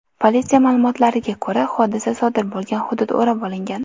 Politsiya ma’lumotiga ko‘ra, hodisa sodir bo‘lgan hudud o‘rab olingan.